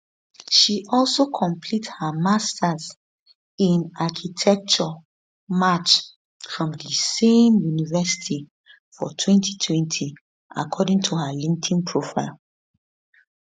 she also complete her master in architecture march from di same university for 2020 according to her linkedin profile